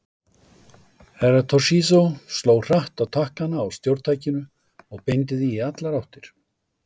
Herra Toshizo sló hratt á takkana á stjórntækinu og beindi því í allar áttir.